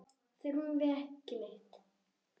Þurfum við ekki neitt?